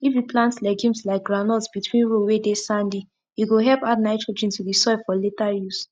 if you plant legumes like groundnut between row whey dey sandy e go help add nitrogen to the soil for later use